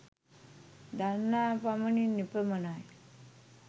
දන්නා පමණින් එපමණයි